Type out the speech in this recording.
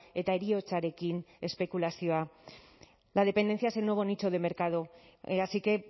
eta heriotzarekin espekulazioa la dependencia es el nuevo nicho de mercado así que